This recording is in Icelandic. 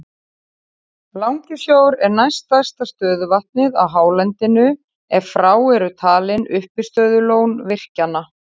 Langisjór er næst stærsta stöðuvatnið á hálendinu ef frá eru talin uppistöðulón virkjanna.